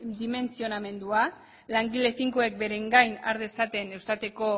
dimentsionamendua langile finkoek beren gain har dezaten eustateko